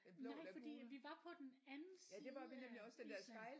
Nej fordi at vi var på den anden side af Island